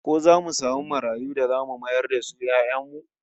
Ko zamu samu marayu da zamu mayar da su 'ya'yan mu?